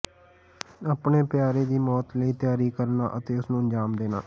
ਆਪਣੇ ਪਿਆਰੇ ਦੀ ਮੌਤ ਲਈ ਤਿਆਰੀ ਕਰਨਾ ਅਤੇ ਉਸ ਨੂੰ ਅੰਜਾਮ ਦੇਣਾ